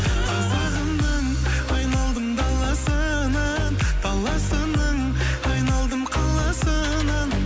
қазағымның айналдым даласынан даласының айналдым қаласынан